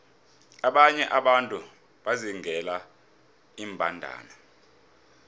abanye abantu bazingela iimbandana